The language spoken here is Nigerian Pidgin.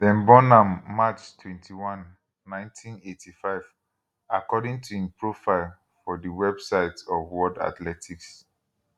dem born am march 21 1985 according to im profile for di website of world athletics